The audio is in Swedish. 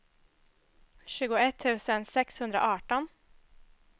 tjugoett tusen sexhundraarton